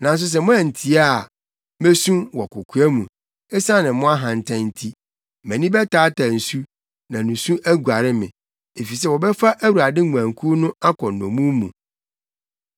Nanso sɛ moantie a, mesu wɔ kokoa mu esiane mo ahantan nti; mʼani bɛtaataa nsu, na nusu aguare me, efisɛ wɔbɛfa Awurade nguankuw no akɔ nnommum mu.